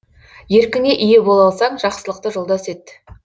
еркіңе ие бола алсаң жақсылықты жолдас ет